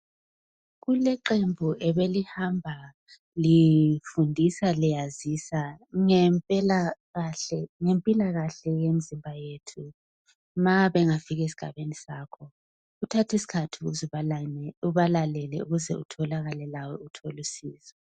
Kuleqembu ebe lihamba lifundisa liyazisa ngempilakahle yemzimba yethu ma bengafika esigabeni sakho uthathisikhathi ubalalele ukuze utholakale lawe uthola usizo